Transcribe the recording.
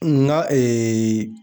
Nga